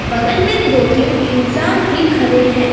बगल में दो तीन इंसान भी खड़े हैं।